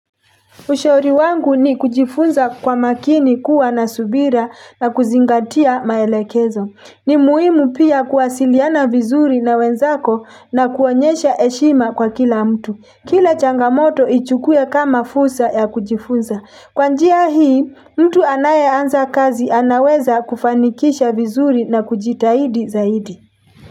Ushauri wangu ni kujifunza kwa makini kuwa na subira na kuzingatia maelekezo. Ni muhimu pia kuwasiliana vizuri na wenzako na kuonyesha eshima kwa kila mtu. Kila changamoto ichukue kama fusa ya kujifunza. Kwanjia hii, mtu anaye anza kazi anaweza kufanikisha vizuri na kujitahidi zaidi.